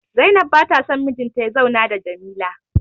Zainab ba ta son mijinta ya zauna da Jamila